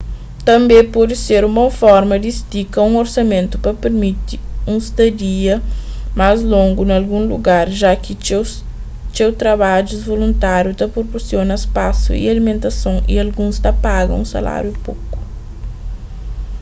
tânbe pode ser un bon forma di stika un orsamentu pa permiti unstadia más longu na algun lugar ja ki txeu trabadjus voluntáriu ta proporsiona spasu y alimentason y alguns ta paga un saláriu poku